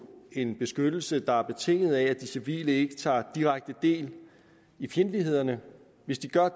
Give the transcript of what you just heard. en beskyttelse der er betinget af at de civile ikke tager direkte del i fjendtlighederne hvis de gør